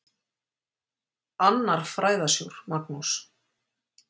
Annar fræðasjór, Magnús